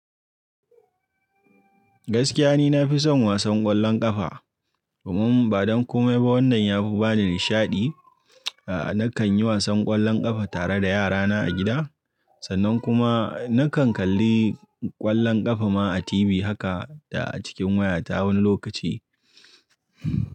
Gaskiya ni nafi son wasan ƙwallon ƙafa. Domin badan komai ba wannan yafi bani nishaɗi. A'a nakan yi wasan ƙwallon ƙafa tare da yarana a gida. Sannan kuma nakan kalli ƙwallon ƙafa ma a TV haka da a cikin waya ta wani lokaci.